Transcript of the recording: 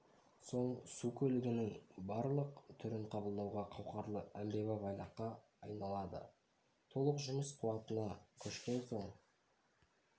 соң су көлігінің барлық түрін қабылдауға қауқарлы әмбебап айлаққа айналады толық жұмыс қуатына көшкен соң